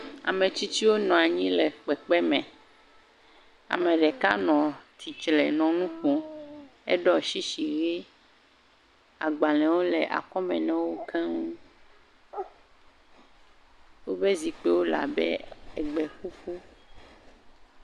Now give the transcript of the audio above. Ame tsitsiwo nɔ anyi le kpekpeme. Ame ɖeka nɔ tsitsle nɔ nu ƒom. Eɖɔ tsitsi ʋe. agbalẽwo le akɔme na wo keŋ. Woƒe zikpiwole abe egbeƒuƒu.